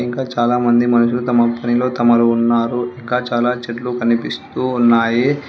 ఇంకా చాలా మంది మనుషులు తమ పనిలో తమరు ఉన్నారు ఇంకా చాలా చెట్లు కనిపిస్తూ ఉన్నాయి.